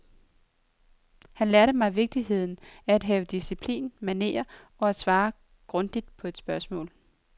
Han lærte mig vigtigheden af at have disciplin, manerer og at svare grundigt på et spørgsmål.